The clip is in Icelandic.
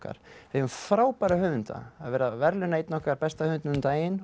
við eigum frábæra höfunda var verið að verðlauna einn okkar besta höfund um daginn